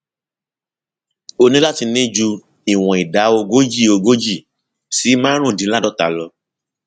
o ní láti ní ju ìwọn ìdá ogójì ogójì si márùndínláàádọta lọ